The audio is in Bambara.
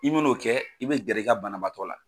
I mɛ n'o kɛ i bɛ gɛrɛ i ka banabaatɔ la.